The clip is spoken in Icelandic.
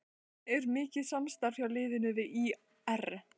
Er mikið samstarf hjá liðinu við ÍR?